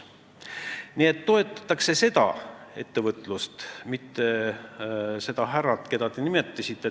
Nii et toetatakse sealset ettevõtlust, mitte seda härrat, keda te nimetasite.